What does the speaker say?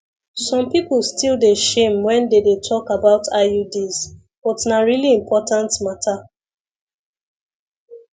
some people still dey shame when they dey talk about iuds but na really important matter